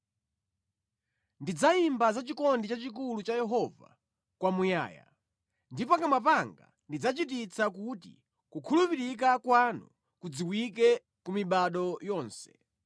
Ndidzayimba za chikondi chachikulu cha Yehova kwamuyaya; ndi pakamwa panga ndidzachititsa kuti kukhulupirika kwanu kudziwike ku mibado yonse.